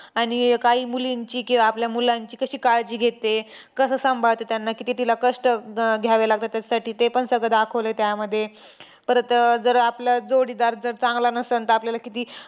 आणि काही मुलींची कि आपल्या मुलांची कशी काळजी घेते, कसं सांभाळते त्यांना, किती तिला कष्ट घ घ्यावे लागतात, त्यासाठी तेपण सगळं दाखवलंय त्यामध्ये. परत जर आपला जोडीदार जर चांगला नसंल तर आपल्याला किती